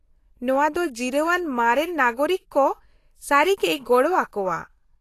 -ᱱᱚᱶᱟ ᱫᱚ ᱡᱤᱨᱟᱹᱣ ᱟᱱ ᱢᱟᱨᱮᱱ ᱱᱟᱜᱚᱨᱤᱠ ᱠᱚ ᱥᱟᱹᱨᱤᱜᱮᱭ ᱜᱚᱲᱚ ᱟᱠᱚᱣᱟ ᱾